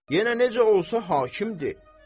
Yenə necə olsa hakimdir.